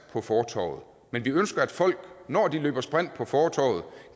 på fortovet men vi ønsker at folk når de løber sprint på fortovet